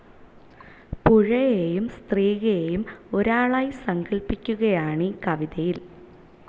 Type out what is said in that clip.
പുഴയേയും സ്ത്രീയേയും ഒരാളായി സങ്കൽപിക്കുകയാണീ കവിതയിൽ.